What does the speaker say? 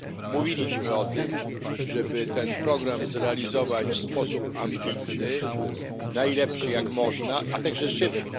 Mówiliśmy o tym, żeby ten program zrealizować w sposób ambitny, najlepszy jak można, a także szybko.